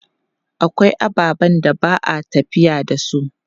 Akwai ababen da ba a tafiya da su.